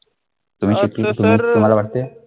तुम्हाला वाटते.